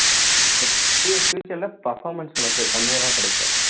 future ல performance உனக்கு கம்மியாதான் கிடைக்கும்